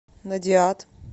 надиад